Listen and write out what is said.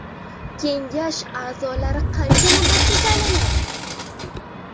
Kengash a’zolari qancha muddatga saylanadi?